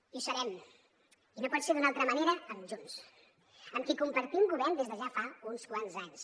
i ho serem i no pot ser d’una altra manera amb junts amb qui compartim govern des de ja fa uns quants anys